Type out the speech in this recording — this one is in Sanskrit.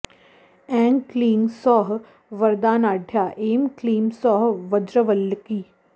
ऐं क्लीं सौः वरदानाढ्या ऐं क्लीं सौः वज्रवल्लकी